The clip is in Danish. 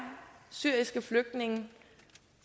syriske flygtningen